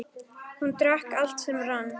Hann drakk allt sem rann.